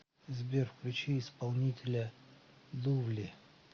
сбер включи исполнителя лувли